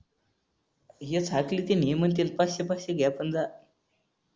हे खातील ते हे पाचशे पाचशे घे पण जा